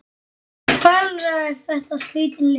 Ferlega er þetta skrítin lykt.